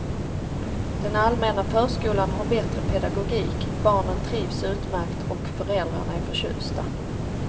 Den allmänna förskolan har bättre pedagogik, barnen trivs utmärkt och föräldrarna är förtjusta.